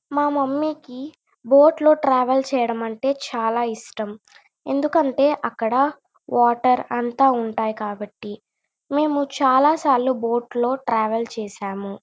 మా మమ్మీ కి బోట్ లో ట్రావెల్ చేయడం అంటే చాల ఇష్టం ఎందుకంటె అక్కడ వాటర్ అంత ఉంటాయి కాబట్టి మేము చాల సార్లు బోట్ లో ట్రావెల్ చేసాము.